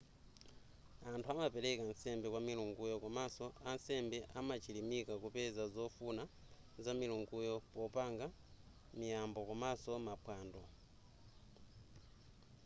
anthu amapereka nsembe kwa milunguyo komanso ansembe amachilimika kupeza zofuna za milunguyo popanga miyambo komanso maphwando